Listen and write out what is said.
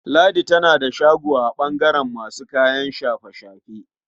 Ladi tana da shago a ɓangaren masu kayan shafe-shafe.